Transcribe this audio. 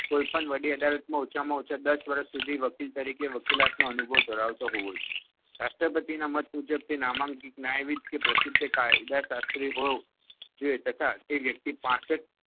કોઈપણ વડી અદાલતમાં ઓછામાં ઓછા દસ વર્ષ સુધી વકીલ તરીકે વકીલાતનો અનુભવ ધરાવતો હોવો જોઈએ. રાષ્ટ્રપતિના મત મુજબ તે નામાંકિત ન્યાયવિદ્દ કે પ્રસિદ્ધ કાયદાશાત્રી હોવો જોઈએ તથા તે વ્યક્તિ પાંસઠ